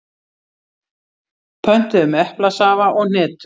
Pöntuðum eplasafa og hnetur.